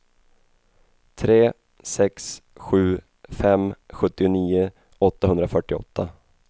tre sex sju fem sjuttionio åttahundrafyrtioåtta